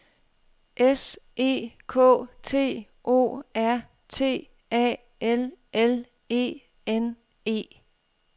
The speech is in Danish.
S E K T O R T A L L E N E